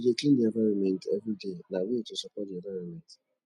to de clean di environment everyday na way to support di environment